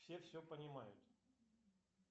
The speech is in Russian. все все понимают